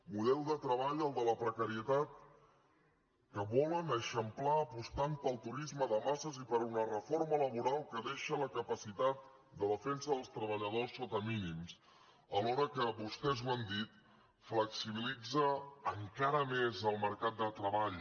model de treball el de la precarietat que volen eixamplar apostant pel turisme de masses i per una reforma laboral que deixa la capacitat de defensa dels treballadors sota mínims alhora que vostès ho han dit flexibilitza encara més el mercat de treball